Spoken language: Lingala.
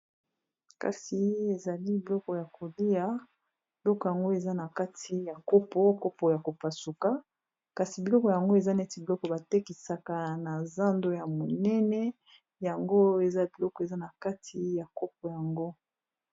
Kasi ezali biloko ya kolia, biloko yango eza na kati ya kopo kopo ya kopasuka, kasi biloko yango eza neti biloko batekisaka na zando ya monene yango eza biloko eza na kati ya kopo yango.